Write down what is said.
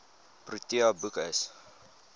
protea boekhuis